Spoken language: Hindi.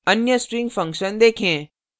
अन्य string function देंखे